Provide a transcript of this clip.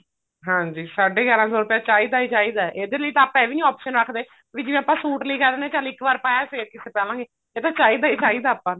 ਹਾਂਜੀ ਸਾਡੇ ਗਿਆਰਾਂ ਸੋ ਰੁਪਇਆ ਚਾਹੀਦਾ ਹੀ ਚਾਹੀਦਾ ਇਹਦੇ ਲਈ ਤਾਂ ਆਪਾਂ ਇਹ ਵੀ ਨੀ option ਰੱਖਦੇ ਵੀ ਜਿਵੇਂ ਆਪਾਂ ਸੂਟ ਲੈ ਕੇ ਆ ਜਾਨੇ ਆ ਚੱਲ ਇੱਕ ਵਾਰ ਪਾਇਆ ਫ਼ੇਰ ਕਿੱਥੇ ਪਾਵਾਂਗੇ ਇਹ ਤਾਂ ਚਾਹੀਦਾ ਹ ਚਾਹੀਦਾ ਆਪਾਂ ਨੂੰ